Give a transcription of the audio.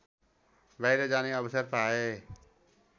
बाहिर जाने अवसर पाएँ